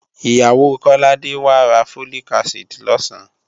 Ìyàwó Kọ́ládé wá ra Folic acid lọ̀sán